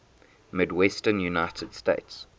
midwestern united states